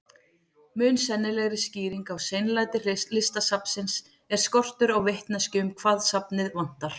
Mun sennilegri skýring á seinlæti Listasafnsins er skortur á vitneskju um hvað safnið vantar.